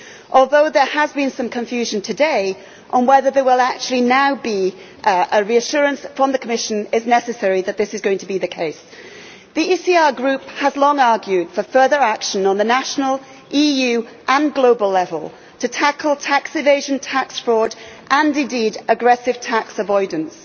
Although as there has been some confusion today on whether there will actually now be an investigation, a reassurance from the Commission is necessary that this is going to be the case. The ECR Group has long argued for further action at national, EU and global level to tackle tax evasion, tax fraud and, indeed, aggressive tax avoidance.